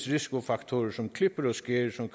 risikofaktorer som klipper og skær som